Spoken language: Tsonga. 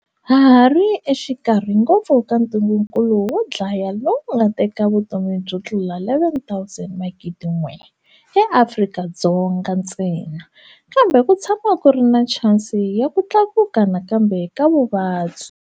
Ha hari exikarhi ngopfu ka ntungukulu wo dlaya lowu wu nga teka vutomi byo tlula 11,000 eAfrika-Dzonga ntsena. Kambe ku tshama ku ri na chansi ya ku tlakuka nakambe ka vuvabyi.